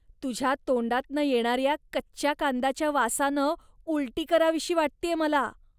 तुझ्या तोंडातनं येणाऱ्या कच्च्या कांद्याच्या वासानं उलटी करावीशी वाटतेय मला.